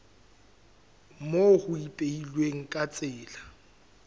moo ho ipehilweng ka tsela